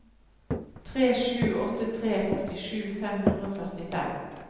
tre sju åtte tre førtisju fem hundre og førtifem